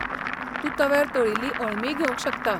तूं तव्यार तळील्लीं अळमीय घेवंक शकता.